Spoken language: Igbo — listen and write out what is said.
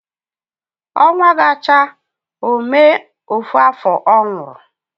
Onwa ga cha ome ofu aho onwuru